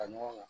Ka ɲɔgɔn